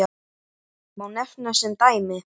Má nefna sem dæmi